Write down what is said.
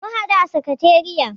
Mun haɗu a sakatariya.